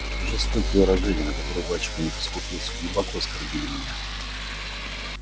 жестокие выражения на которые батюшка не поскупился глубоко оскорбили меня